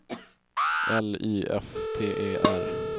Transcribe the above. L Y F T E R